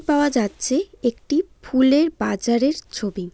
পাওয়া যাচ্ছে একটি ফুলের বাজারের ছবি।